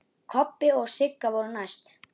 Kobbi og Sigga voru næst.